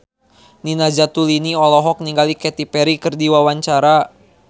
Nina Zatulini olohok ningali Katy Perry keur diwawancara